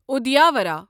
اُدیاورا